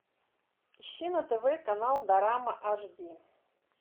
ищи на тв канал дорама аш ди